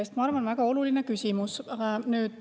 Ma arvan, et see on väga oluline küsimus.